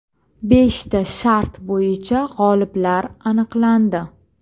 Beshta shart bo‘yicha g‘oliblar aniqlandi.